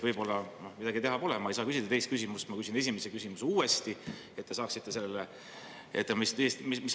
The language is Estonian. Midagi teha pole, ma ei saa küsida teist küsimust, ma küsin esimese küsimuse uuesti, et te saaksite sellele …